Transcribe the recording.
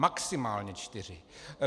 Maximálně čtyři!